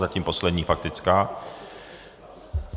Zatím poslední faktická.